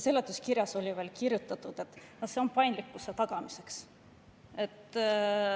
Seletuskirjas oli kirjutatud, et see on paindlikkuse tagamiseks.